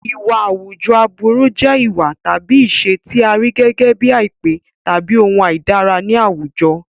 Ìwà àwùjọ aburú jẹ́ ìwà tàbí ìṣe tí a rí gẹ́gẹ́ bíi àìpé tàbí ohun àìdára ní àwùjọ.